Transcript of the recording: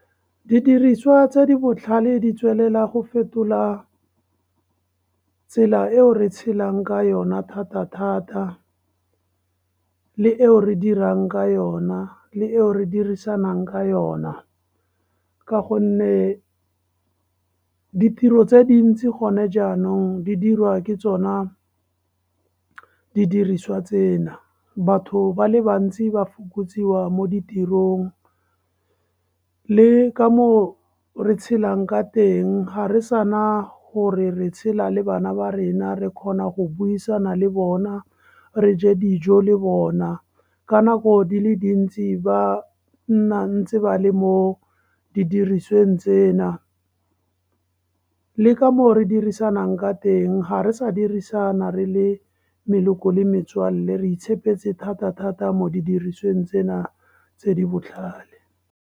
Didiriswa tse di botlhale di tswelela go fetola tsela eo re tshelang ka yona thata-thata, le eo re dirang ka yona, le eo re dirisanang ka yona, ka gonne ditiro tse dintsi gone jaanong, di dirwa ke tsona didiriswa tsena. Batho ba le bantsi ba fokotsiwa mo ditirong le ka moo re tshelang ka teng, ga re sana gore re tshela le bana ba rena re kgona go buisana le bona, re je dijo le bona, ka nako di le dintsi ba nna ntse ba le mo didirisweng tsena. Le ka moo re dirisanang ka teng, ga re sa dirisana re le meloko le metsoalle re tshepetse thata-thata mo didirisweng tsena tse di botlhale.